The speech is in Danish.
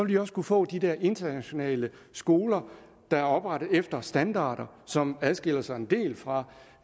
de også kunne få de der internationale skoler der er oprettet efter standarder som adskiller sig en del fra